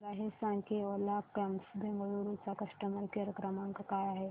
मला हे सांग की ओला कॅब्स बंगळुरू चा कस्टमर केअर क्रमांक काय आहे